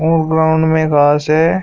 ओ ground में घास है।